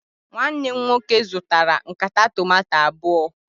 Nwanne m nwoke zụtara nkata tomanto abụọ